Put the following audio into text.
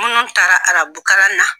Munnu taara arabukalan na